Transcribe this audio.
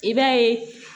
I b'a ye